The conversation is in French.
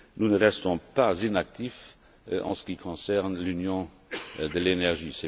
Nous ne restons pas inactifs en ce qui concerne l'Union de l'énergie.